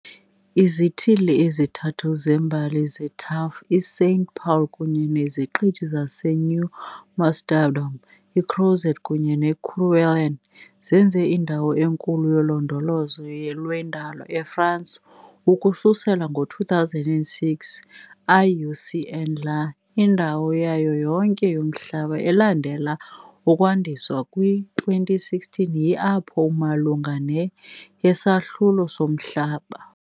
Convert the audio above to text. Izithili ezintathu zembali ze-TAAF, i-Saint-Paul kunye neziqithi zaseNew Amsterdam, iCrozet kunye neKerguelen zenze indawo enkulu yolondolozo lwendalo eFransi ukususela ngo-2006, IUCN, Ia, indawo yayo yonke yomhlaba, elandela ukwandiswa kwi-2016, yi-, apho malunga ne-yesahlulo somhlaba.